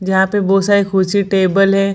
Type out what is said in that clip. जहाँ पे बहुत सारी कुर्सी टेबल है।